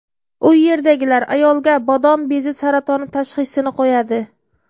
U yerdagilar ayolga bodom bezi saratoni tashxisini qo‘yadi.